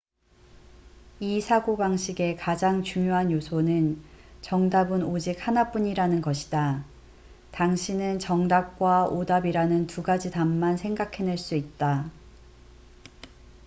이 사고방식의 가장 중요한 요소는 정답은 오직 하나뿐이라는 것이다 당신은 정답과 오답이라는 두 가지 답만 생각해낼 수 있다